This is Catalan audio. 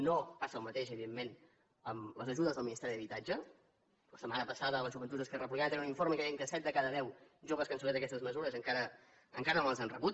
no passa el mateix evidentment amb les ajudes del ministeri d’habitatge la setmana passada les joventuts d’esquerra republicana tenien un informe que deia que set de cada deu joves que han sol·licitat aquestes mesures encara no les han rebut